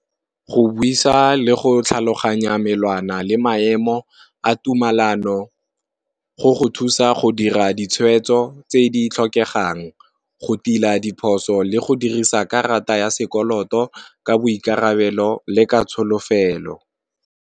Go buisa le go tlhaloganya melawana le maemo a tumalano, go go thusa go dira ditshwetso tse di tlhokegang go tila diphoso le go dirisa karata ya sekoloto ka boikarabelo le ka tsholofelo.